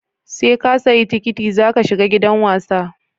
Seka siya tikiti zaka shiga gidan wasa